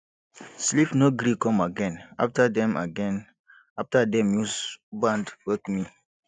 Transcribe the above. sleep no gree come again after dem again after dem use band wake me